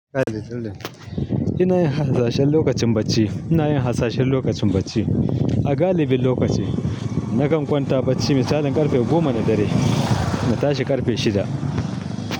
Ina yin harsashen lokacin bacci, ina yin harsashen lokacin bacci. A galibin lokaci nakan kwanta bacci misalin karfe goma na dare na tashi karfe shida.